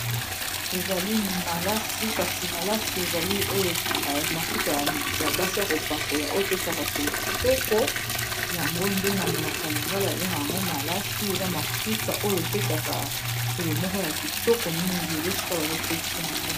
ezali malasi kasi malasi ezali oyo mafuta ya basi ya kopakola oyo pesaka solo kitoko yango nde na monoko ya lingala babenga k yango malasi eza mafuta oyo epesaka solo moko ya kitoko mingi eza esika bazotekisa yango